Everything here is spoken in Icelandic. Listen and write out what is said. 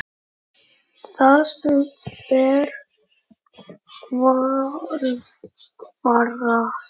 Það sem ber að varast